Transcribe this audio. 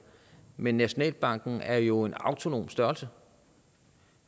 men nationalbanken er jo en autonom størrelse